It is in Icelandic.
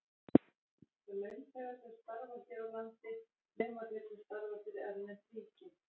Launþegar sem starfa hér á landi, nema þeir sem starfa fyrir erlend ríki.